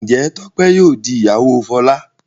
njé Tope yíò dì ìyàwó Fola?